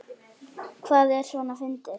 Hvað er svona fyndið?